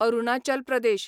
Arunachal Pradesh